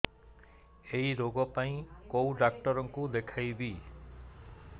ଏଇ ରୋଗ ପାଇଁ କଉ ଡ଼ାକ୍ତର ଙ୍କୁ ଦେଖେଇବି